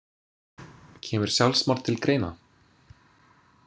Kemur sjálfsmorð til greina?